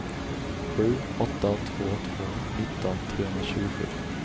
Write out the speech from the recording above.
sju åtta två två nitton trehundratjugosju